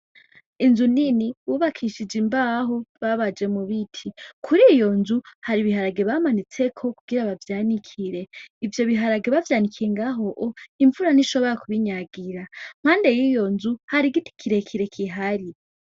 Inzu nini bubakishije imbaho babaje mu biti, kuriyo nzu hari ibiharage bamanitseko kugira bavyanikire, ivyo biharage bavyanikiye ngaho imvura ntishobora kubinyagira, impande yiyo nzu hari igiti kirekire gihari.